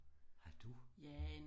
Har du